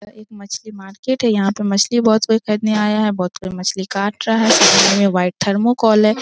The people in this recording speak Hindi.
एक मछली मार्केट है यहां पर मछली बहुत लोग खरीदने आया है बहुत लोग मछली काट रहा है इसमें व्हाइट थर्मोकोल है ।